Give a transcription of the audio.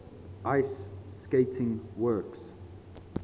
ice skating works